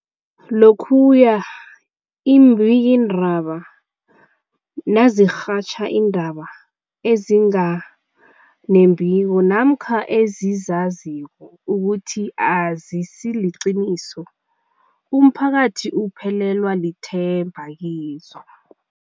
Lokhuya iimbikiindaba nazirhatjha iindaba ezinga nembiko namkha ezizaziko ukuthi azisiliqiniso, umphakathi uphelelwa lithemba kizo.